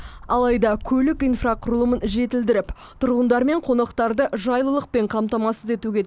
алайда көлік инфрақұрылымын жетілдіріп тұрғындар мен қонақтарды жайлылықпен қамтамасыз етуге